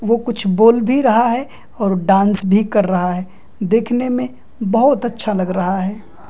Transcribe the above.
वो कुछ बोल भी रहा है और डांस भी कर रहा है देखने में बहुत अच्छा लग रहा हैं ।